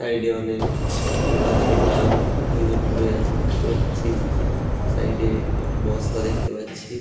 Side এ অনেক ম গাছের ডাল ভেঙে পড়ে আছে দেখতে পাচ্ছি সাইড এ একটা বস্তা দেখতে পাচ্ছি।